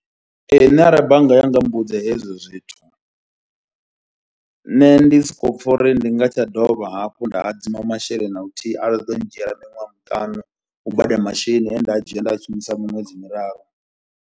Ee nṋe arali bannga ya nga mmbudza hezwo zwithu, nṋe ndi soko pfha uri ndi nga si tsha dovha hafhu nda hadzima masheleni na luthihi, a ḓo ndzhiela miṅwedzi miṱanu u badela masheleni enda a dzhia nda shumisa miṅwedzi miraru.